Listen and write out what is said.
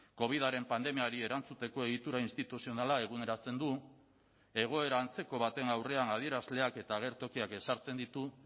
covidaren pandemiari erantzuteko egitura instituzionala eguneratzen du egoera antzeko baten aurrean adierazleak eta agertokiak ezartzen ditu